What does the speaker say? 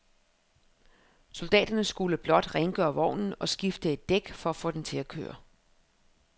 Soldaterne skulle blot rengøre vognen og skifte et dæk for at få den til at køre.